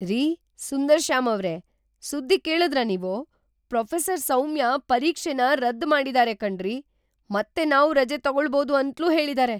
ರೀ ಸುಂದರ್‌ಶ್ಯಾಮ್ ಅವ್ರೇ, ಸುದ್ದಿ ಕೇಳುದ್ರಾ ನೀವು? ಪ್ರೊಫೆಸರ್ ಸೌಮ್ಯ ಪರೀಕ್ಷೆನ ರದ್ದ್ ಮಾಡಿದಾರೆ ಕಣ್ರೀ.. ಮತ್ತೆ ನಾವು ರಜೆ ತಗೊಳ್ಬೋದು ಅಂತ್ಲೂ ಹೇಳಿದಾರೆ!